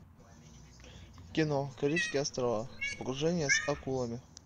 кино карибские острова погружение с акулами